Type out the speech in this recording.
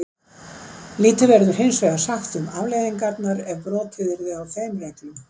Lítið verður hinsvegar sagt um afleiðingarnar ef brotið yrði á þeim reglum.